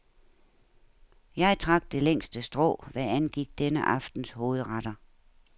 Jeg trak det længste strå, hvad angik denne aftens hovedretter.